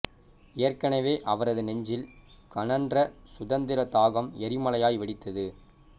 ஏற்கனவே அவரது நெஞ்சில் கனன்ற சுதந்திர தாகம் எரிமலையாய் வெடித்தது